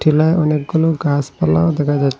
টিলায় অনেকগুনো গাসপালাও দেখা যা--